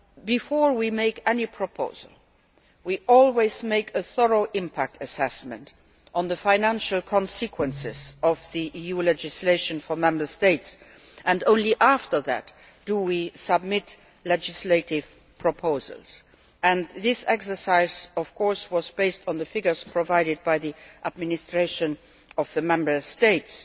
Before we make any proposal, we always make a thorough impact assessment of the financial consequences of the EU legislation for Member States. Only then do we submit legislative proposals. This exercise was, of course, based on the figures provided by the administration of the Member States.